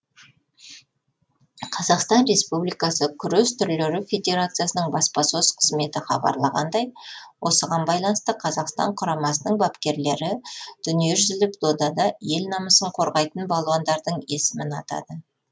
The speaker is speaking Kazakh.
қазақстан республикасы күрес түрлері федерациясының баспасөз қызметі хабарлағандай осыған байланысты қазақстан құрамасының бапкерлері дүниежүзілік додада ел намысын қорғайтын балуандардың есімін атады